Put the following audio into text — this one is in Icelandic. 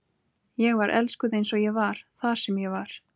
Ég var elskuð eins og ég var, þar sem ég var.